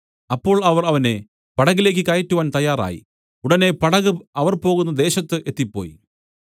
അപ്പോൾ അവർ അവനെ പടകിലേക്ക് കയറ്റുവാൻ തയ്യാറായി ഉടനെ പടക് അവർ പോകുന്ന ദേശത്തു എത്തിപ്പോയി